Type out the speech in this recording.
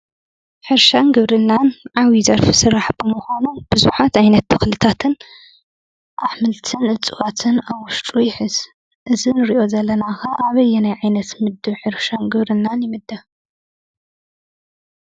ሕርሻን ግብርናን ዓብዪ ዘርፊ ስራሕ ብምዃኖም ቡዙሓት ዓይነት ተኽልታትን ፣ ኣሕምልትን ፣እፅዋትን ኣብ ውሽጡ ይሕዝ:: እዚ እንሪኦ ዘለና ኸ ኣበየናይ ዓይነት ምድብ ሕርሻን ግብርናን ይምደብ?